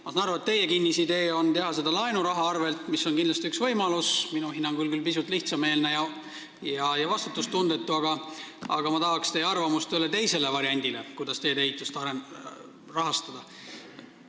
Ma saan aru, et teie kinnisidee on teha seda laenuraha arvel, mis on kindlasti üks võimalus – minu hinnangul küll pisut lihtsameelne ja vastutustundetu –, aga ma tahaks teie arvamust ühele teisele variandile, kuidas teedeehitust rahastada.